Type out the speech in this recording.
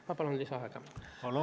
Ma palun lisaaega!